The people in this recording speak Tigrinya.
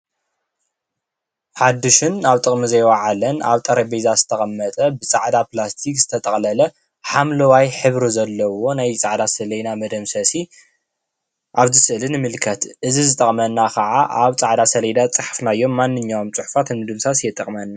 ሓዲሽን አብ ጠቅሚ ዘይ ወዓለን አብ ጠረጴዛ ዝተቀመጠ ብ ፃዕዳ ፕላስቲክ ዝተጠቅለለ ሓምለዋይ ሕብሪ ዘለዎ ናይ ፃዕዳ ሰሌዳ መደምሰሲ አብዚ ስእሊ ንምልከት እዚ ዝጠቅመና ካዓ አብ ፃዕዳ ሰሌዳ ዝዓሓፍናዮም ማንኛውም ፅሑፋት ንምድምሳስ ይጠቅመና ፡፡